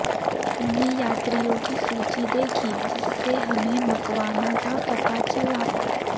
हमने यात्रियों की सूची देखी जिससे हमें मकवाना का पता चला